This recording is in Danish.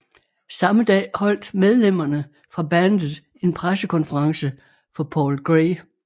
Samme dag holdt medlemmerne fra bandet en pressekonference for Paul Gray